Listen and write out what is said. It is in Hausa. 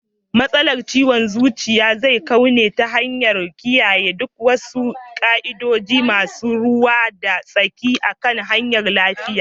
. Matsalar ciwon zuciya zai kau ne ta hanyar kiyayen duk wasu ka'idojin masu ruwa da tsaki akan harkar .lafiya